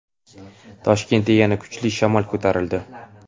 Toshkentda yana kuchli shamol ko‘tarildi.